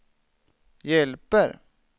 hjälper